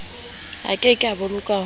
a keke a boloka ho